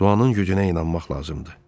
Duanın gücünə inanmaq lazımdı.